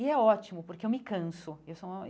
E é ótimo, porque eu me canso eu sou uma.